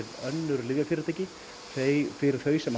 önnur lyfjafyrirtæki fyrir þau sem